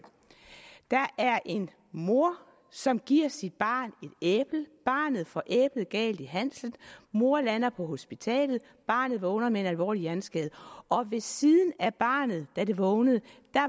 der er en mor som giver sit barn et æble barnet får æblet galt i halsen mor lander på hospitalet barnet vågner med en alvorlig hjerneskade og ved siden af barnet da det vågnede